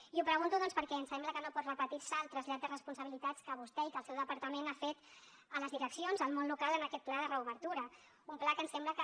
i ho pregunto doncs perquè ens sembla que no pot repetirse el trasllat de responsabilitats que vostè i que el seu departament han fet a les direccions al món local en aquest pla de reobertura un pla que ens sembla que